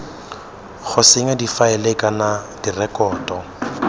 go senya difaele kana direkoto